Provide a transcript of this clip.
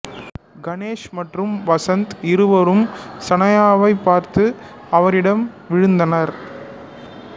கணேஷ் மற்றும் வசந்த் இருவரும் சனாயாவைப் பார்த்து அவரிடம் விழுந்தனர்